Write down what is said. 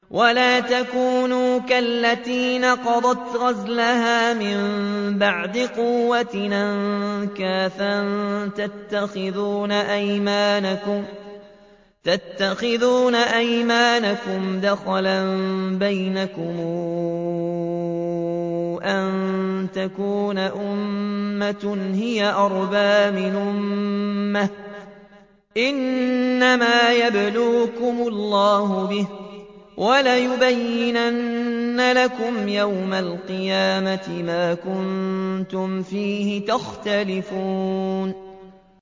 وَلَا تَكُونُوا كَالَّتِي نَقَضَتْ غَزْلَهَا مِن بَعْدِ قُوَّةٍ أَنكَاثًا تَتَّخِذُونَ أَيْمَانَكُمْ دَخَلًا بَيْنَكُمْ أَن تَكُونَ أُمَّةٌ هِيَ أَرْبَىٰ مِنْ أُمَّةٍ ۚ إِنَّمَا يَبْلُوكُمُ اللَّهُ بِهِ ۚ وَلَيُبَيِّنَنَّ لَكُمْ يَوْمَ الْقِيَامَةِ مَا كُنتُمْ فِيهِ تَخْتَلِفُونَ